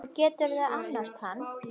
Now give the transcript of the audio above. Og geturðu annast hann?